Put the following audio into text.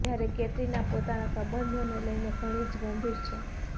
જ્યારે કૅટરિના પોતાના સંબંધોને લઇને ઘણી જ ગંભીર છે